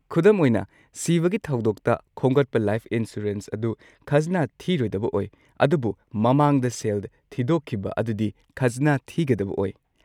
ꯈꯨꯗꯝ ꯑꯣꯏꯅ, ꯁꯤꯕꯒꯤ ꯊꯧꯗꯣꯛꯇ ꯈꯣꯝꯒꯠꯄ ꯂꯥꯏꯐ ꯏꯟꯁꯨꯔꯦꯟꯁ ꯑꯗꯨ ꯈꯖꯅꯥ ꯊꯤꯔꯣꯏꯗꯕ ꯑꯣꯏ, ꯑꯗꯨꯕꯨ ꯃꯃꯥꯡꯗ ꯁꯦꯜ ꯊꯤꯗꯣꯛꯈꯤꯕ ꯑꯗꯨꯗꯤ ꯈꯖꯅꯥ ꯊꯤꯒꯗꯕ ꯑꯣꯏ꯫